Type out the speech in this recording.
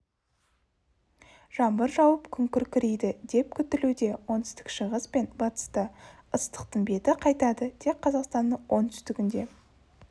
жаңбыр жауып күн күркірейді деп күтілуде оңтүстік-шығыс пен батыста ыстықтың беті қайтады тек қазақстанның оңтүстігінде